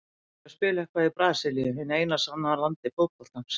Ég myndi vilja spila eitthvað í Brasilíu, hinu sanna landi fótboltans.